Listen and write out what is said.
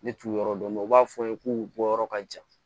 Ne t'u yɔrɔ dɔn u b'a fɔ n ye k'u bɔ yɔrɔ ka jan